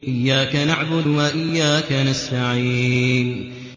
إِيَّاكَ نَعْبُدُ وَإِيَّاكَ نَسْتَعِينُ